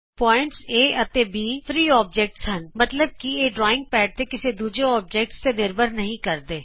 ਬਿੰਦੂ ਏ ਅਤੇ B free objects ਹਨ ਮਤਲਬ ਕਿ ਇਹ ਡਰਾਇੰਗ ਪੈੱਡ ਤੇ ਕਿਸੇ ਦੂਜੇ ਔਬਜੈਕਟ ਤੇ ਨਿਰਭਰ ਨਹੀਂ ਕਰਦੇ